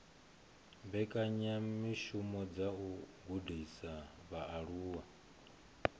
mbekanyamishumo dza u gudisa vhaaluwa